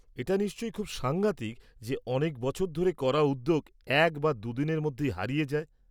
এটা নিশ্চয় খুব সাংঘাতিক যে অনেক বছর ধরে করা উদ্যোগ এক বা দু'দিনের মধ্যেই হারিয়ে যায়।